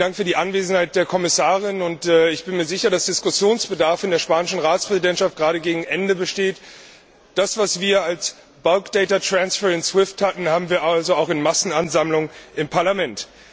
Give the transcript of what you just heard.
Herzlichen Dank für die Anwesenheit der Kommissarin! Ich bin mir sicher, dass Diskussionsbedarf in der spanischen Ratspräsidentschaft gerade gegen Ende besteht. Das, was wir als in SWIFT hatten, haben wir also auch in Massenansammlung im Parlament.